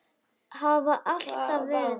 Hafa alltaf verið það.